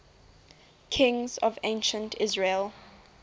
kings of ancient israel